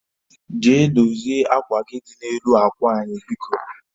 Jee dozie akwa gị dị na-elu akwa anyị biko